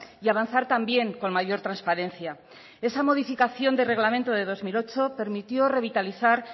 y avanzar también con mayor transparencia esa modificación del reglamento de dos mil ocho permitió revitalizar